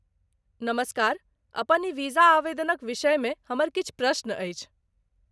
नमस्कार, अपन ई वीजा आवेदनक विषयमे हमर किछु प्रश्न अछि।